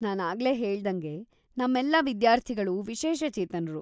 ನಾನಾಗ್ಲೆ ಹೇಳ್ದಂಗೆ, ನಮ್ಮೆಲ್ಲಾ ವಿದ್ಯಾರ್ಥಿಗಳು ವಿಶೇಷಚೇತನ್ರು.